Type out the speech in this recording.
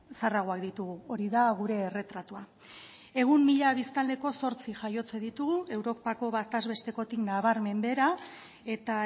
zaharragoak ditugu hori da gure erretratua egun mila biztanleko zortzi jaiotze ditugu europako batez bestekotik nabarmen behera eta